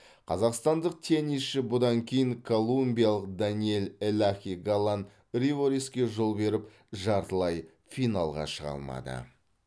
қазақстандық теннисші бұдан кейін колумбиялық даниэль элахи галан ривероске жол беріп жартылай финалға шыға алмады